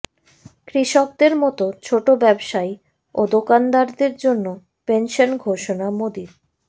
কৃষকদের মতো ছোট ব্যবসায়ী ও দোকানদারদের জন্য পেনশন ঘোষণা মোদীর